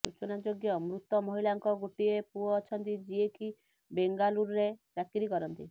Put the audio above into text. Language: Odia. ସୂଚନାଯୋଗ୍ୟ ମୃତ ମହିଳାଙ୍କ ଗୋଟିଏ ପୁଅ ଅଛନ୍ତି ଯିଏ କି ବେଙ୍ଗାଲୁରୁରେ ଚାକିରି କରନ୍ତି